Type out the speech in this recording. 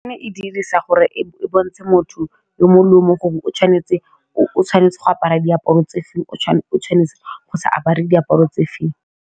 Ne e dirisa gore e bontshe motho yo mongwe le yo mongwe gore o tshwanetse go apara diaparo tse feng o tshwanetse go sa apare diaparo tse feng.